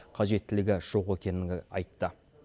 қажеттілігі жоқ екені айтты